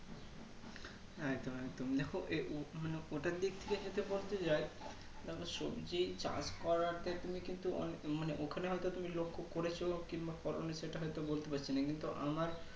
একদম একদম দেখো এ উ মানে ওটার দিক থেকে পোস্টে যাই তাহলে সত্যি চাষ করাতে তুমি কিন্তু অনে মানে ওখানে হয়তো তুমি লোক খুব করেছ কিংবা করোনি সেটা হয়তো বলতে পারছি না কিন্তু আমার